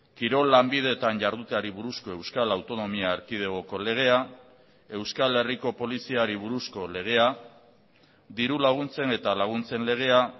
kirol lanbideetan jarduteari buruzko euskal autonomia erkidegoko legea euskal herriko poliziari buruzko legea diru laguntzen eta laguntzen legea